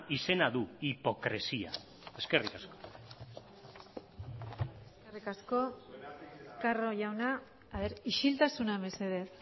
izena du hipokresia eskerrik asko eskerrik asko carro jauna isiltasuna mesedez